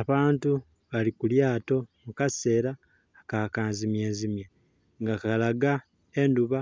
Abantu bali kulyato mukasera aka kanzimye nzimye nga kalaga endhuba